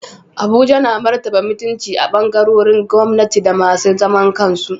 Abuja na martaba mutunci a ɓangarorin gwamnati da masu zaman kansu.